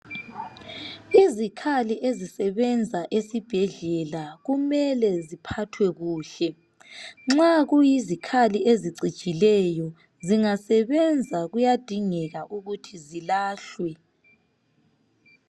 Izikhali ezisebenza esibhedlela kumele ziphathwa kuhle nxa kuyizikhali ezicijileyo zingasebenza kuyadingeka ukuthi zilahlwe.